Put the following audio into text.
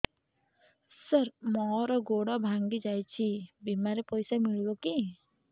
ସାର ମର ଗୋଡ ଭଙ୍ଗି ଯାଇ ଛି ବିମାରେ ପଇସା ମିଳିବ କି